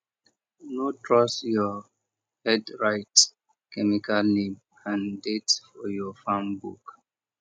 no trust your headwrite chemical name and date for your farm book